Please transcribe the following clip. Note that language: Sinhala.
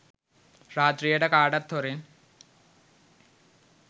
රාත්‍රියට කාටත් හොරෙන්